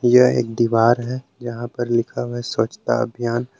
यह एक दीवार है यहां पर लिखा हुआ है स्वच्छता अभियान।